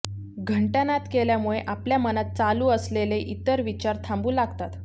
घंटानाद केल्यामुळे आपल्या मनात चालू असलेले इतर विचार थांबू लागतात